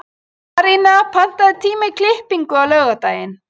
Arína, pantaðu tíma í klippingu á laugardaginn.